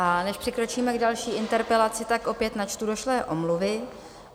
A než přikročíme k další interpelaci, tak opět načtu došlé omluvy.